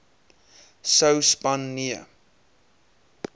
sou span nee